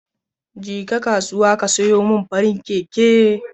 Jeka kasuwa ka sayo mini farin keke.